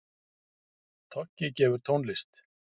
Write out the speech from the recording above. Toggi gefur tónlist